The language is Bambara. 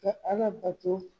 Ka Ala bato